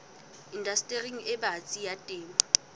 indastering e batsi ya temo